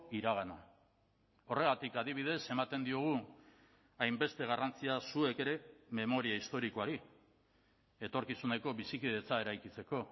iragana horregatik adibidez ematen diogu hainbeste garrantzia zuek ere memoria historikoari etorkizuneko bizikidetza eraikitzeko